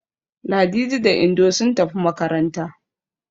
Ladidi da Indo sun tafi makaranta.